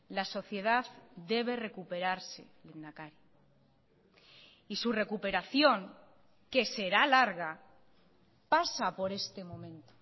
la sociedad debe recuperarse lehendakari y su recuperación que será larga pasa por este momento